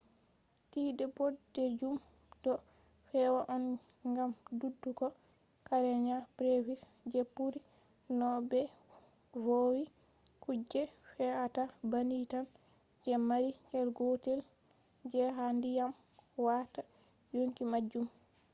tide bodejum do fe’a on gam dudugo karenia brevis je buri no be vowi kuje fe’ata banni tan je mari cell gotel je ha dyam watta yonki majum